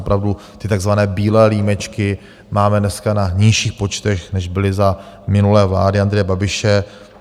Opravdu ty takzvané bílé límečky máme dneska na nižších počtech, než byly za minulé vlády Andreje Babiše.